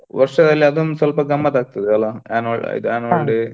ವರ್ಷದಲ್ಲಿ ಅದೊಂದ್ ಸೊಲ್ಪ ಗಮ್ಮತ್ ಆಗ್ತದೆ ಅಲ್ಲಾ. annual ಇದು annual day .